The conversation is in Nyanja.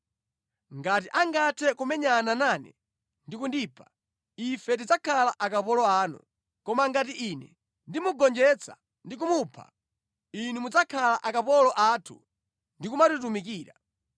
Ngati angathe kumenyana nane ndi kundipha, ife tidzakhala akapolo anu, koma ngati ine ndimugonjetsa ndi kumupha, inu mudzakhala akapolo athu ndi kumatitumikira.”